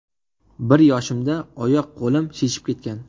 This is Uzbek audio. Bir yoshimda oyoq-qo‘lim shishib ketgan.